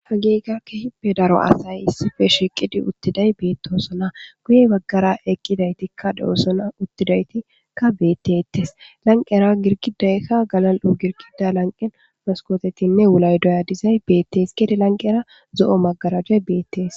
Hagey qa kehippe daro asay issife shiiqidi uttiday beettosona guyey baggara eqqidaytikka de7osona uttidaytikka bettettes lanqera girqidaykka galal7u girqida lanqen maskotetinne wulay doya dizay beettes kede lanqera zo7o magarajay beettees.